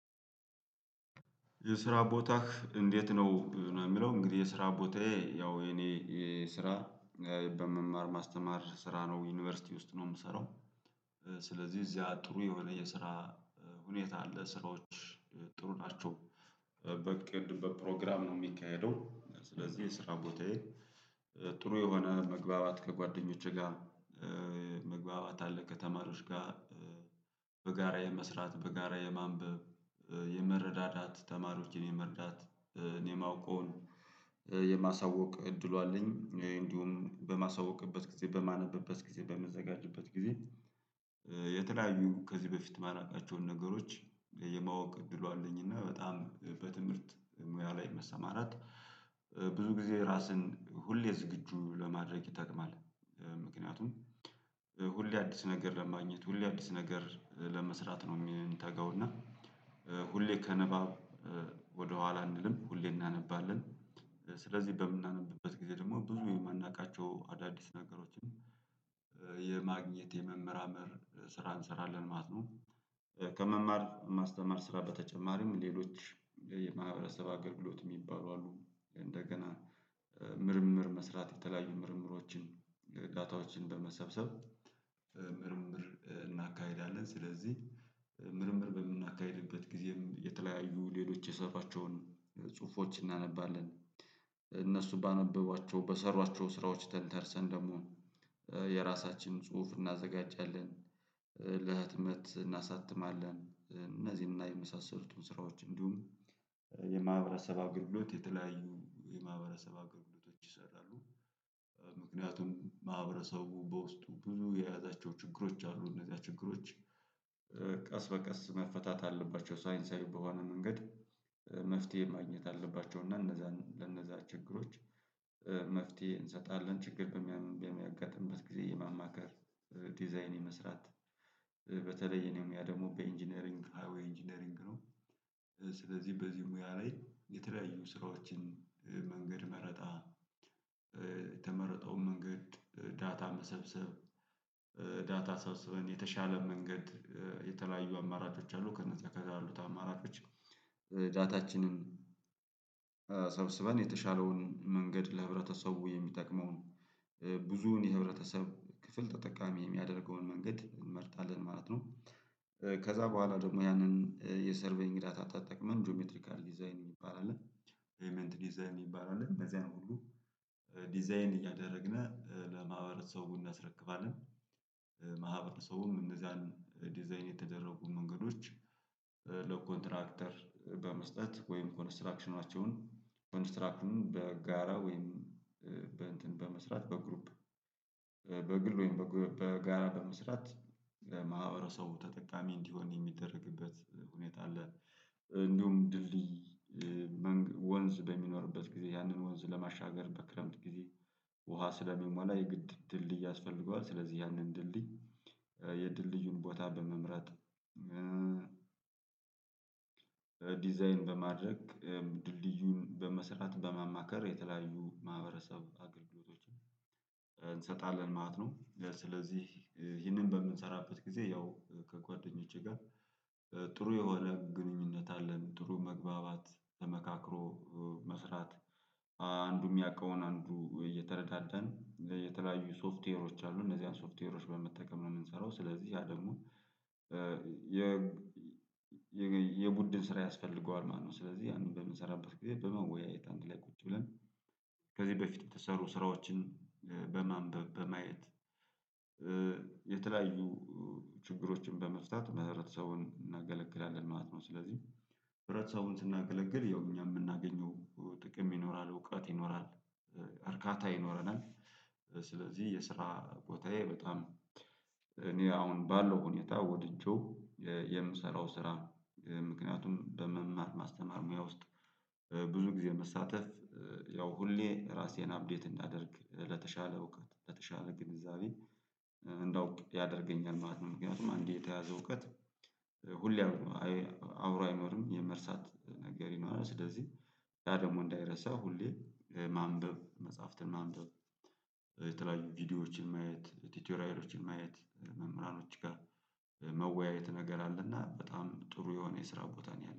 የስራ ቦታህ እንዴት ነው? የሚለው እንግዲህ የስራ ቦታዬ ያው የኔ የስራ በመማር ማስተማር ስራ ነው ዩኒቨርሲቲ ውስጥ ነው የምሰራው። ስለዚህ እዚያ ጥሩ የሆነ የስራ ሁኔታ አለ ስራዎች ጥሩ ናቸው። በእቅድ በፕሮግራም ነው የሚካሄደው ስለዚህ የስራ ቦታዬ ጥሩ የሆነ መግባባት ከጓደኞቼ ጋር መግባባ አለ ከተማሪዎች ጋር። በጋራ የመስራት በጋራ የማንበብ የመረዳዳት ተማሪዎችን የመርዳት እኔ የማውቀውን የማሳወቅ እድሉ አለኝ። እንዲሁም በማሳወቅበት ጊዜ በማነበበት ጊዜ በምዘጋጀበት ጊዜ የተለያዩ ከዚህ በፊት ማላውቃቸውን ነገሮች የማወቅ እድሉ አለኝና በጣም በትምህርት ሙያ ላይ መሰማራት። ብዙ ጊዜ ራስን ሁሌ ዝግጁ ለማድረግ ይጠቅማል። ምክንያቱም ሁሌ አዲስ ነገር ለማግኘት ሁሌ አዲስ ነገር ለመስራት ነው የምንተጋውና ሁሌ ከንባብ ወደኋላ አንልም ሁሌ እናነባለን። ስለዚህ በምናነብበት ጊዜ ደግሞ ብዙ የማናውቃቸው አዳዲስ ነገሮችን የማግኘት የመመራመር ስራ እንሰራለን ማለት ነው። ከመማር ማስተማር ስራ በተጨማሪም ሌሎች የማህበረሰብ አገልግሎት የሚባሉ አሉ። እንደገና ምርምር መስራት የተለያዩ ምርምሮችን ዳታዎችን በመሰብሰብ ምርምር እናካሂዳለን። ስለዚህ ምርምር በምናካሂድበት ጊዜም የተለያዩ ሌሎች የሰሯቸውን ጽሁፎች እናነባለን እነሱ ባነበቧቸው በሰሯቸው ስራዎች ተንተርሰን ደግሞ የራሳችን ጽሁፍ እናዘጋጃለን። ለህትመት እናሳትማለን እነዚህን እና የመሳሰሉትን ስራዎች እንዲሁም የማህበረሰብ አገልግሎት የተለያዩ የማህበረሰብ አገልግሎቶች ይሰራሉ። ምክንያቱም ማህበረሰቡ በውስጡ ብዙ የያዛቸው ችግሮች አሉ እነዚያ ችግሮች ቀስ በቀስ መፈታት አለባቸው ሳይንሳዊ በሆነ መንገድ መፍትሄ ማግኘት አለባቸው እና እነዛ ለእነዛ ችግሮች መፍትሄ እንሰጣለን። ችግር በሚያም በሚያጋጥምበት ጊዜ የማማከር ዲዛይን የመስራት በተለይ እኔም ያ ደግሞ በኢንጂነሪንግ ወይ ኢንጂነሪንግ ነው። ስለዚህ በዚህ ሙያ ላይ የተለያዩ ስራዎችንም መንገድ መረጣ የተመረጠውን መንገድ ዳታ መሰብሰብ ዳታ ሰብስበን የተሻለ መንገድ የተለያዩ አማራጮች አሉ። ከነዚህ ከዛ አሉት አማራጮች ዳታችንን ሰብስበን የተሻለውን መንገድ ለህብረተሰቡ የሚጠቅመውን ብዙውን የህብረተሰብ ክፍል ተጠቃሚ የሚያደርገውን መንገድ እንመርጣለን ማለት ነው። ከዛ በኋላ ደግሞ ያንን የሰርቬይንግ ዳታ ተጠቅመን ጂኦሜትሪካል ዲዛይን የሚባል አለ ሄይመንት ዲዛይን የሚባል እዚህ ሁሉ ዲዛይን እያደረግን ለማህበረሰቡ እናስረክባለን። ማህበረሰቡ ሰውም እነዛን ዲዛይን የተደረጉ መንገዶች ለኮንትራክተር በመስጠት ወይም ኮንስትራክሽናቸውን ኮንስትራክቱን በጋራ ወይም በእንትን በመስራት በግሩፕ በግል ወይም በግሩ በጋራ በመስራት ለማህበረሰቡ ተጠቃሚ እንዲሆን የሚደረግበት ሁኔታ አለ። እንዲሁም ድልድይ መን ወንዝ በሚኖርበት ጊዜ ያንን ወንዝ ለማሻገር በክረምት ጊዜ ውሃ ስለሚሞላ የግድ ድልድይ ያስፈልገዋል ስለዚህ ያንን ድልድል የድልድዩን ቦታ በመምረጥ ዲዛይን በማድረግ ድልድዩን በመስራት በማማከር የተለያዩ ማህበረሰብ አገልግሎቶችን እንሰጣለን ማለት ነው። ስለዚህ ይህንን በምንሰራበት ጊዜ ያው ከጓደኞቼ ጋር ጥሩ የሆነ ግንኙነት አለን። ጥሩ መግባባት ተመካክሮ መስራት አንዱ የሚያውቀውን አንዱ እየተረዳዳን የተለያዩ ሶፍትዌሮች አሉ እነዚህን ሶፍትዌሮች በመጠቀም ነው የምንሰራው ስለዚህ ያ ደግሞ የ የቡድን ስራ ያስፈልገዋል ማለት ነው። ስለዚህ ያንን በምንሰራበት ጊዜ በመወያየት አንድ ላይ ቁጭ ብለን ከዚህ በፊት በተሰሩ ስራዎችን በማንበብ በማየት የተለያዩ ችግሮችን በመፍታት ም ህብረተሰቡን እናገለግላለን ማለት ነው። ስለዚህ ህብረተሰቡን ስናገለግል ያው እኛ የምናገኘው ጥቅም ይኖራል እውቀት ይኖራል እርካታ ይኖረናል። ስለዚህ የስራ ቦታዬ በጣም እኔ አሁን ባለው ሁኔታ ወድጄው የምሰራው ስራ ምክንያቱም በመማር ማስተማር ሙያ ውስጥ ብዙ ጊዜ መሳተፍ ያው ሁሌ ራሴን አፕዴት እንዳደርግ ለተሻለ እውቀት ለተሻለ ግንዛቤ እንዳውቅ ያደርገኛል ማለት ነው። ምክንያቱም አንዴ የተያዘ እውቀት ሁሌ አብሮ አይኖርም የመርሳት ነገር ይኖራል። ስለዚህ ያ ደግሞ እንዳይረሳ ሁሌ ማንበብ መጽሐፍትን ማንበብ የተለያዩ ቪዲዮዎችን ማየት ቲቶሪያሎችን ማየት መምህራኖች ጋር መወያየት ነገር አለና በጣም ጥሩ የሆነ የስራ ቦታ ነው። ያለኝ